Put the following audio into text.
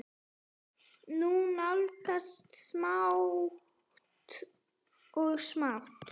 Hún nálgast smátt og smátt.